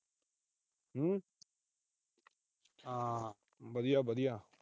ਵਧੀਆ-ਵਧੀਆ।